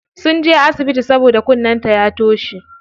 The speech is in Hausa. Sunje asibiti saboda kunnen ta ya toshe.